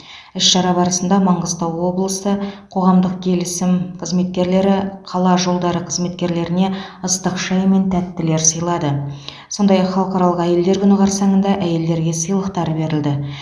іс шара барысында маңғыстау облысы қоғамдық келісім қызметкерлері қала жолдары қызметкерлеріне ыстық шай мен тәттілер сыйлады сондай ақ халықаралық әйелдер күні қарсаңында әйелдерге сыйлықтар берілді